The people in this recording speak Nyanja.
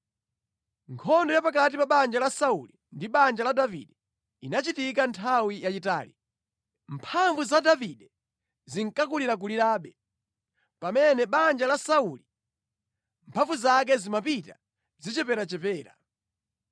Nkhondo ya pakati pa banja la Sauli ndi banja la Davide inachitika nthawi yayitali. Mphamvu za Davide zinkakulirakulirabe, pamene banja la Sauli mphamvu zake zimapita zicheperachepera.